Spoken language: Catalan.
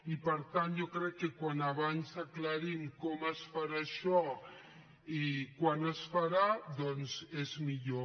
i per tant jo crec que com més aviat aclarim com es farà això i quan es farà doncs és millor